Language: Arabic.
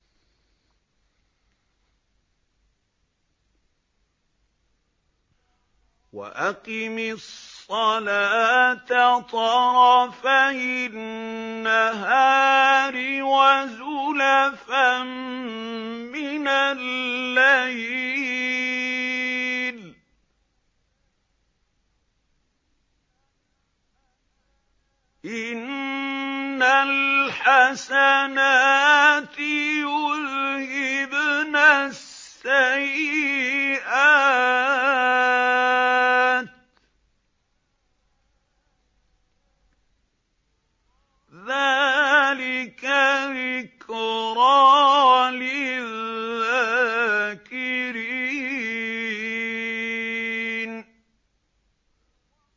وَأَقِمِ الصَّلَاةَ طَرَفَيِ النَّهَارِ وَزُلَفًا مِّنَ اللَّيْلِ ۚ إِنَّ الْحَسَنَاتِ يُذْهِبْنَ السَّيِّئَاتِ ۚ ذَٰلِكَ ذِكْرَىٰ لِلذَّاكِرِينَ